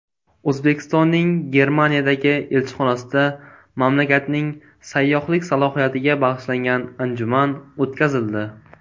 O‘zbekistonning Germaniyadagi elchixonasida mamlakatning sayyohlik salohiyatiga bag‘ishlangan anjuman o‘tkazildi.